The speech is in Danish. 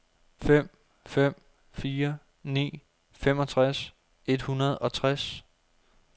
fem fem fire ni femogtres et hundrede og tres